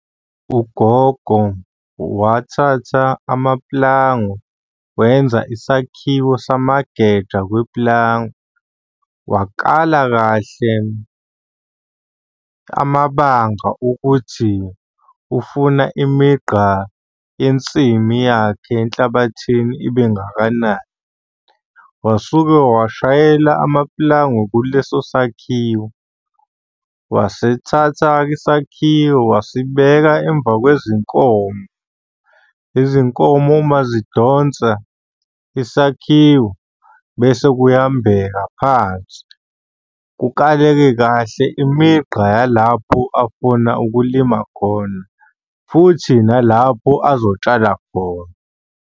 Ugogo wathatha amapulango wenza isakhiwo samageja kwepulango. Wakala kahle amabanga ukuthi ufuna imigqa yensimi yakhe enhlabathini ibe ngakanani. Wasuke washayela amapulangwe kuleso sakhiwo. Wasithatha-ke isakhiwo wasibeka emva kwezinkomo. Izinkomo uma zidonsa isakhiwo bese kuyambeka phansi, kukaleke kahle imigqa yalapho afuna ukulima khona, futhi nalapho azotshala khona.